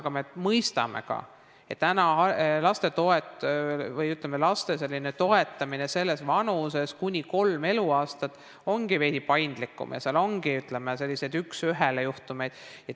Aga me mõistame ka, et laste toetamine vanuses kuni kolm eluaastat ongi veidi paindlikum ja seal ongi sellised üks-ühele-juhtumid.